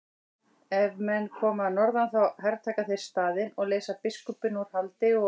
Ef menn koma að norðan þá hertaka þeir staðinn og leysa biskupinn úr haldi og.